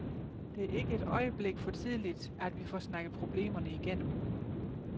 Det er ikke et øjeblik for tidligt, at vi får snakket problemerne igennem.